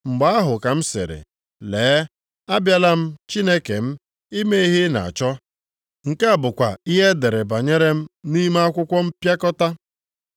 Mgbe ahụ ka m sịrị, ‘Lee, abịala m Chineke m, ime ihe ị na-achọ. Nke a bụkwa ihe e dere banyere m nʼime akwụkwọ mpịakọta.’ ”+ 10:7 \+xt Abụ 40:6-8\+xt*